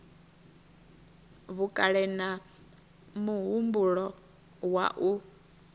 vhukale na muhumbulo wa u